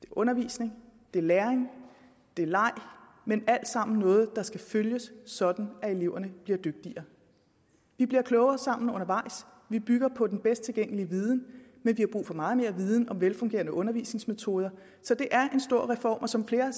undervisning det er læring det er leg men alt sammen noget der skal følges sådan at eleverne bliver dygtigere vi bliver klogere sammen undervejs vi bygger på den bedst tilgængelige viden men vi har brug for meget mere viden om velfungerende undervisningsmetoder så det er en stor reform og som flere